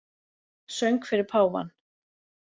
Söng fyrir páfann